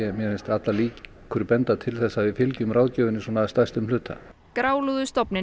mér finnst allar líkur til þess að við fylgjum ráðgjöfinni að stærstum hluta